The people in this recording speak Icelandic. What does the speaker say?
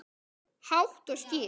Hátt og skýrt.